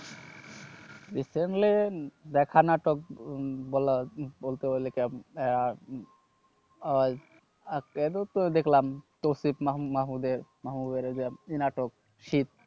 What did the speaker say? recently দেখা নাটক বলা বলতে গেলে একটা আহ আহ আজকেও তো দেখলাম তৌসিফ মাহম মাহমুদের মাহমুদের ওই যে ই নাটক শীত।